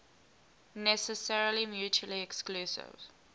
necessarily mutually exclusive